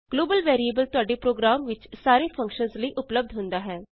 global variable ਤੁਹਾਡੇ program ਵਿਚ ਸਾਰੇ ਫੰਕਸ਼ਨਸ ਲਈ ਉਪਲੱਭਦ ਹੁੰਦਾ ਹੈ